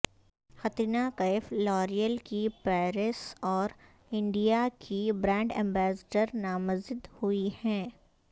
Katrina Kaif L'Oreal کی Paris اور India کی برانڈ ایمبیسیڈر نامزد ہوئی ہیں